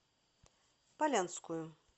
полянскую